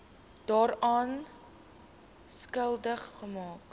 daaraan skuldig maak